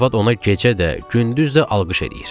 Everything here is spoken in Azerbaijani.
Qərabət ona gecə də, gündüz də alqış eləyir.